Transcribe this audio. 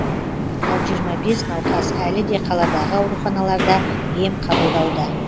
ал жиырма бес науқас әлі де қаладағы ауруханаларда ем қабылдауда